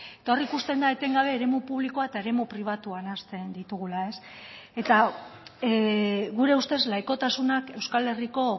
eta hor ikusten da etengabe eremu publikoa eta eremu pribatua nahasten ditugula eta gure ustez laikotasunak euskal herriko